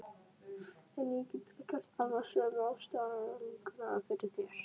En ég get gert alveg sömu ástarjátninguna fyrir þér.